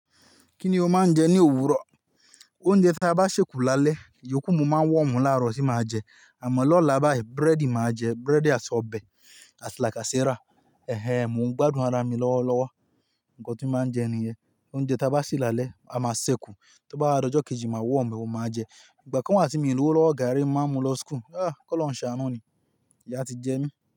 Kíni ó máa ń jẹ ní òwúrọ̀? Oúnjẹ tí a bá ṣèkù lálẹ́, iyòókù ni mo máa ń wọ̀omu láàárọ̀ tí màá jẹ. Àmọ́ lọ́la báyìí búrẹ́dì màá jẹ, búrẹ́dì àti ọbẹ̀ àti làkàsẹ́rà. Ẹ̀hẹ̀n, mo ń gbádùn ara mi lọ́wọ́lọ́wọ́. Ǹkan tí màá jẹ nìyẹn. Oúnjẹ tí a bá ṣè lálẹ́, a máa ṣè kù. Tí ó bá di ojo kejì, màá wọ̀omu e, oun ni máa jẹ. Ìgbà kan wà tí mi ò ni owo lọ́wọ́, gààrí ni máa mú lọ school Aa, ki olorun ṣàánú ni. Ìyá ti jẹ mí.